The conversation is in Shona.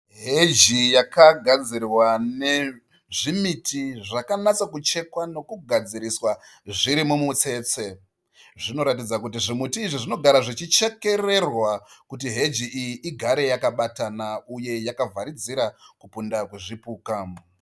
Heji yakagadzirwa nezvimiti zvakanatsokuchekwa nekugadziriswa zvirimumutsetse. Zvinotaridza kuti zvimiti izvi zvinogarwa zvichechekererwa kuti heji iyi ugare yakabatana uye yakavharidzira kupinda kwezvipuka.